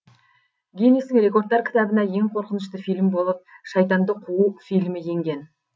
гиннестің рекордтар кітабына ең қорқынышты фильм болып шайтанды қуу фильмі енген